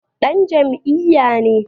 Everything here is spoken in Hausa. Dan jam'iyya ne